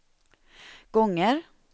gånger